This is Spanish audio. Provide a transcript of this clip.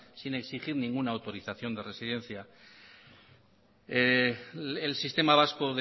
sin exigir ninguna autorización de residencia el sistema vasco